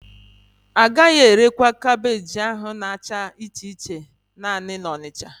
Agaghị erekwa kaabéji ahụ ha na-acha iche iche naanị na Onitsha